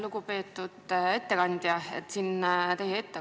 Lugupeetud ettekandja!